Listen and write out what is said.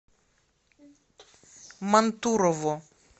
мантурово